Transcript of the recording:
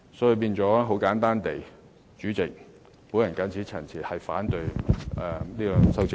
主席，簡單而言，我謹此陳辭，反對這兩組修正案。